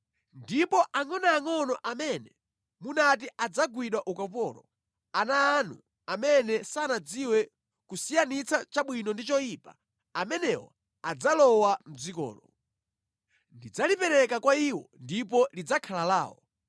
Ndipo angʼonoangʼono amene munati adzagwidwa ukapolo, ana anu amene sanadziwe kusiyanitsa chabwino ndi choyipa, amenewo adzalowa mʼdzikolo. Ndidzalipereka kwa iwo ndipo lidzakhala lawo.